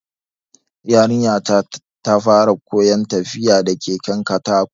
Yarinya ta fara koyan tafiya da keken katako